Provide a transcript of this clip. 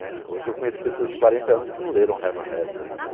Eh, hoje eu conheço pessoas de quarenta anos que não leram Herman Hesse ainda.